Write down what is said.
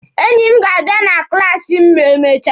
Enyi m ga-abịa na klaasi m ma emechaa.